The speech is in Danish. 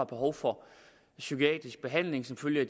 behov for psykiatrisk behandling som følge